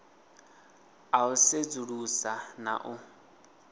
a u sedzulusa na u